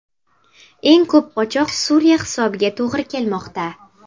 Eng ko‘p qochoq Suriya hisobiga to‘g‘ri kelmoqda.